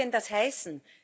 Was soll denn das heißen?